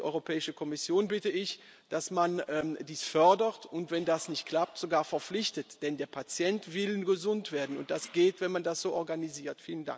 Die Europäische Kommission bitte ich, dass man dies fördert, und wenn das nicht klappt, sogar verpflichtet. Denn der Patient will gesund werden, und das geht, wenn man das so organisiert.